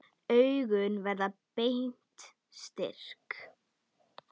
Augun verða beint strik.